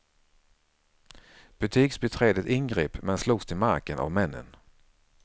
Butiksbiträdet ingrep men slogs till marken av männen.